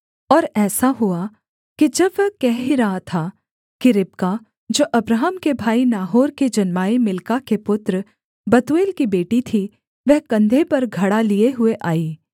और ऐसा हुआ कि जब वह कह ही रहा था कि रिबका जो अब्राहम के भाई नाहोर के जन्माये मिल्का के पुत्र बतूएल की बेटी थी वह कंधे पर घड़ा लिये हुए आई